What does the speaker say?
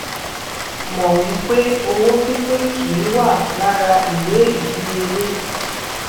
mọ wí pé owó pínpín kì í wà lára ìwé ìdíyelé